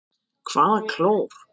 Hvaða klór?